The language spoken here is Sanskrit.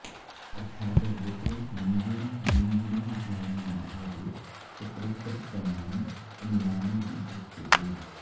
अर्थात् यत्र लिङ्गेन लिङ्गिनो ज्ञानं विधीयते तत्र तत्प्रमाणम् अनुमानमिति उच्यते